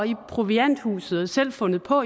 i provianthuset og selv fundet på